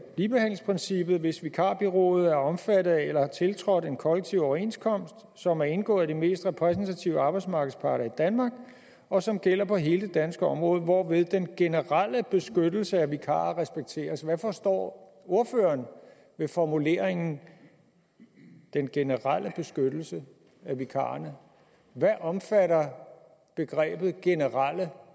ligebehandlingsprincippet hvis vikarbureauet er omfattet af eller har tiltrådt en kollektiv overenskomst som er indgået af de mest repræsentative arbejdsmarkedsparter i danmark og som gælder på hele det danske område hvorved den generelle beskyttelse af vikarer respekteres hvad forstår ordføreren ved formuleringen den generelle beskyttelse af vikarerne hvad omfatter ordet generelle